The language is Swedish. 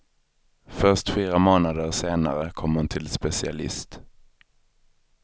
Först fyra månader senare kom hon till specialist.